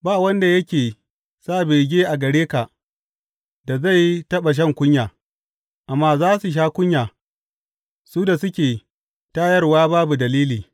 Ba wanda yake sa bege a gare ka da zai taɓa shan kunya, amma za su sha kunya su da suke tayarwa babu dalili.